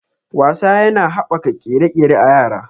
Wasa yana haɓaka ƙere-ƙere a yara.